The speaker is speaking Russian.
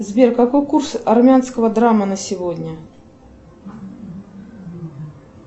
сбер какой курс армянского драма на сегодня